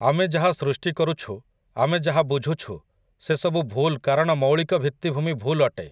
ଆମେ ଯାହା ସୃଷ୍ଟି କରୁଛୁ ଆମେ ଯାହା ବୁଝୁଛୁ ସେ ସବୁ ଭୁଲ୍ କାରଣ ମୋୖଳିକ ଭିତ୍ତିଭୂମି ଭୁଲ୍ ଅଟେ ।